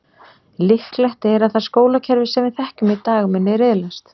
Líklegt er að það skólakerfi sem við þekkjum í dag muni riðlast.